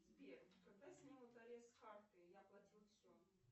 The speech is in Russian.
сбер когда снимут арест с карты я оплатила все